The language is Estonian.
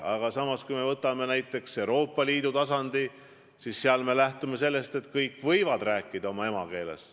Aga samas, kui me võtame Euroopa Liidu tasandi, siis seal me lähtume sellest, et kõik võivad rääkida oma emakeeles.